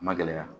A ma gɛlɛya